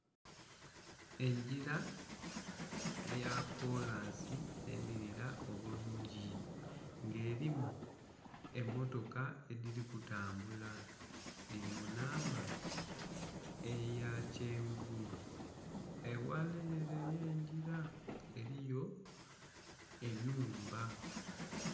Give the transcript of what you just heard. Engira eya kolansi enhirira obulungi nga erimu emmotoka edhiri kutambula diri munamba eyakyenvu eghala ere yengira eriyo enhumba.